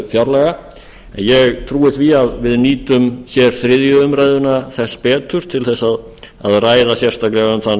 fjárlaga en ég trúi því að við nýtum þriðju umræðu þess betur til að ræða sérstaklega um þann